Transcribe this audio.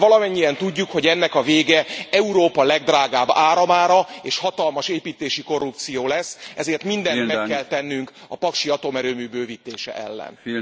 De valamennyien tudjuk, hogy ennek a vége Európa legdrágább áramára és hatalmas építési korrupció lesz, ezért mindent meg kell tennünk a paksi atomerőmű bővítése ellen.